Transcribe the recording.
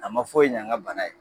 A ma foyi ɲa n ka bana ye.